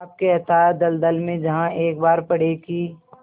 पाप के अथाह दलदल में जहाँ एक बार पड़े कि